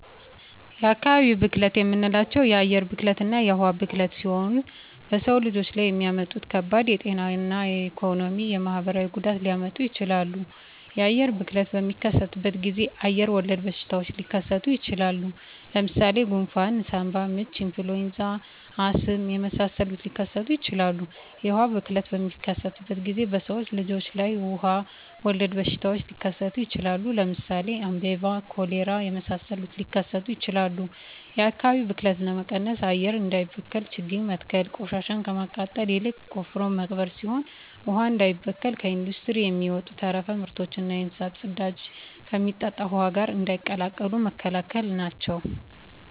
የአካባቢ ብክለት የምንላቸው የአየር ብክለትና የውሀ ብክለት ሲሆኑ በሰው ልጅ ላይ የሚያመጡት ከባድ የጤና የኢኮኖሚ የማህበራዊ ጉዳት ሊያመጡ ይችላሉ። የአየር ብክለት በሚከሰትበት ጊዜ አየር ወለድ በሽታዎች ሊከሰቱ ይችላል። ለምሳሌ ጉንፍን ሳምባምች ኢንፍሉዌንዛ አስም የመሳሰሉትን ሊከሰቱ ይችላሉ። የውሀ ብክለት በሚከሰትበት ጊዜ በሰው ልጅ ላይ ውሀ ወለድ በሽታዎች ሊከሰቱ ይችላሉ። ለምሳሌ አሜባ ኮሌራ የመሳሰሉት ሊከሰቱ ይችላሉ። የአካባቢ ብክለት ለመቀነስ አየር እንዳይበከል ችግኝ መትከል ቆሻሻን ከማቃጠል ይልቅ ቆፍሮ መቅበር ሲሆን ውሀ እንዳይበከል ከኢንዱስትሪ የሚወጡ ተረፈ ምርቶችና የእንስሳት ፅዳጅን ከሚጠጣ ውሀ ጋር እንዳይቀላቀሉ መከላከል ናቸው።